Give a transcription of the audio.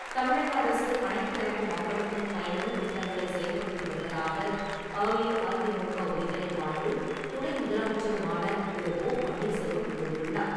தமிழக அரசு அனைத்து தரப்பு மக்களுக்கும் பயனுள்ள திட்டங்களை செயல்படுத்தி வருவதாக அஇஅதிமுக ஒருங்கிணைப்பாளரும், துணை முதலமைச்சருமான திரு. ஓ. பன்னீர்செல்வம் கூறியுள்ளார்.